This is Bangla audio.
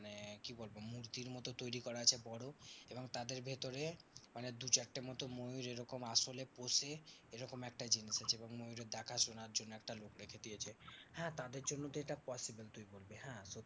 মানে কি বলবো? মূর্তির মতো তৈরী করা আছে বড় এবং তাদের ভেতরে মানে দু চারটে মতো ময়ূর এরকম আসলে পোষে এরকম একটা জিনিস আছে এবং ময়ূরের দেখাশোনার জন্যে একটা লোক রেখে দিয়েছে। হ্যাঁ তাদের জন্যে তো এটা possible তুই বলবি হ্যাঁ